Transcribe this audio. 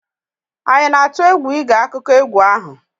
anyị na-atụ egwu ịge akụkọ egwu ahụ?